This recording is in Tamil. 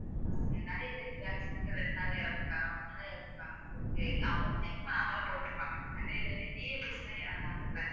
நிறைய பேர் இப்படியாயிடுச்சு ரெண்டு நாள்ல இறந்துட்டாங்க மூணு நாளா இறந்துட்டாங்க அவங்க check பண்ணாமலா போட்டிருப்பாங்க அது இறந்தாங்கல்ல